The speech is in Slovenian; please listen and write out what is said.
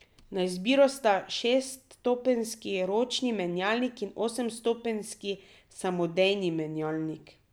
Na izbiro sta šeststopenjski ročni menjalnik in osemstopenjski samodejni menjalnik.